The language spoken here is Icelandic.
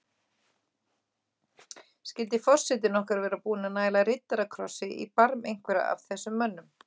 Skyldi forsetinn okkar vera búinn að næla riddarakrossi í barm einhverra af þessum mönnum?